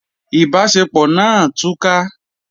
Ìbáṣepọ̀ náà túká.